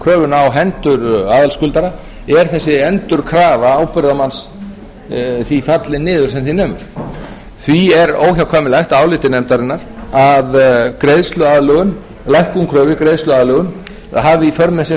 kröfuna á hendur aðalskuldara er þessi endurkröfu ábyrgðarmann því fallin niður sem því nemur því er óhjákvæmilegt að áliti nefndarinnar að lækkun kröfu í greiðsluaðlögun hafi í för með sér